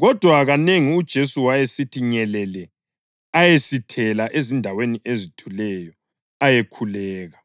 Kodwa kanengi uJesu wayesithi nyelele ayesithela ezindaweni ezithuleyo ayekhuleka.